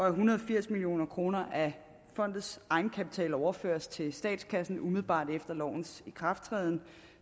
en hundrede og firs million kroner af fondets egenkapital overføres til statskassen umiddelbart efter lovens ikrafttræden